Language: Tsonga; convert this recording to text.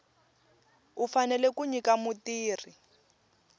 u fanele ku nyika mutirhi